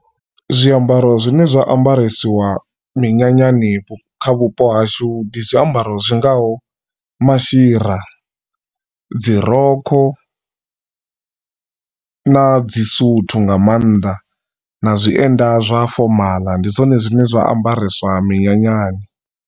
Zwiambaro zwine zwa ambaresiwa minyanyani kha vhupo hashu ndi zwiambaro zwingaho, mashira, dzi rokho na dzi suthu nga maanḓa na zwienda zwa fomala ndi zwone zwine zwa ambareswa minyanyani.